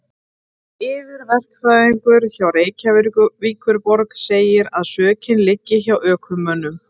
Yfirverkfræðingur hjá Reykjavíkurborg segir að sökin liggi hjá ökumönnum.